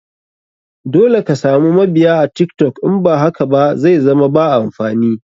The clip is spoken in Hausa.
Dole ka samu mabiya a tiktok in ba haka ba zaizama ba amfani.